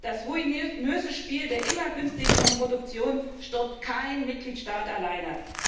Das ruinöse Spiel der immer günstigeren Produktion stoppt kein Mitgliedstaat alleine.